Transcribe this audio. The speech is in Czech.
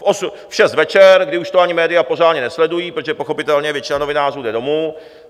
V šest večer, kdy už to ani média pořádně nesledují, protože pochopitelně většina novinářů jde domů.